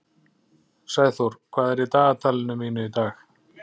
Sæþór, hvað er í dagatalinu mínu í dag?